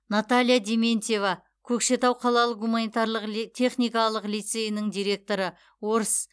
наталья дементьева көкшетау қалалық гуманитарлық техникалық лицейінің директоры орыс